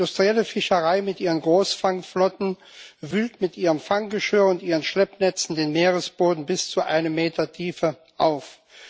Die industrielle Fischerei mit ihren Großfangflotten wühlt mit ihrem Fanggeschirr und ihren Schleppnetzen den Meeresboden bis zu einem Meter Tiefe auf.